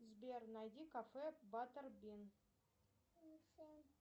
сбер найди кафе баттербин